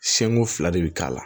fila de bi k'a la